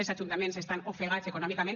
els ajuntaments estan ofegats econòmicament